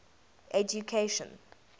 education